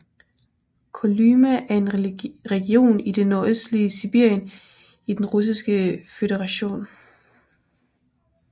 Kolyma er en region i det nordøstligste Sibirien i Den Russiske Føderation